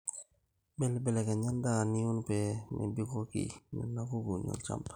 mbelibelekenya endaa nium pee mebikoki nena kukuuni olchamba